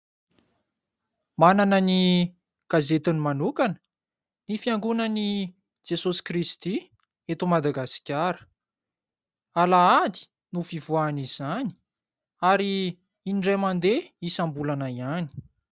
Manana ny gazetiny manokana ny Fiangonana an'i Jesoa Kristy eto Madagasikara. Alahady no fivoahany izany ary indray mandeha isam-bolana ihany.